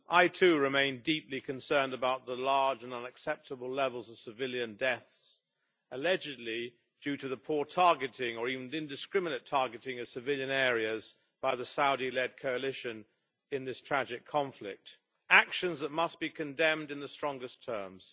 Mr President, I too remain deeply concerned about the large and unacceptable levels of civilian deaths allegedly due to the poor targeting or even indiscriminate targeting of civilian areas by the Saudi led coalition in this tragic conflict actions that must be condemned in the strongest terms.